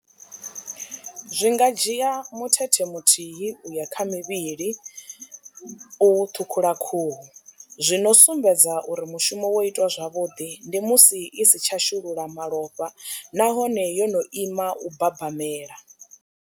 Zwi nga dzhia muthethe muthihi uya kha mivhili u ṱhukhula khuhu zwi no sumbedza uri mushumo wo itwa zwavhuḓi ndi musi i si tsha shulula malofha nahone yo no ima u babamela.